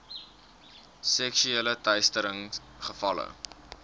seksuele teistering gevalle